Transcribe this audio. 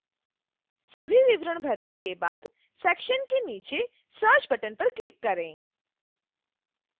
सभी विवरण भरने के बाद सेक्शन के नीचे search बटन पर क्लिक करें